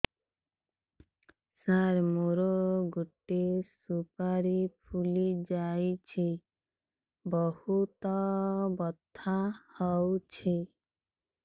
ସାର ମୋର ଗୋଟେ ସୁପାରୀ ଫୁଲିଯାଇଛି ବହୁତ ବଥା ହଉଛି